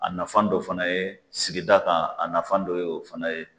A nafan dɔ fana ye sigida kan a nafan dɔ ye o fana ye.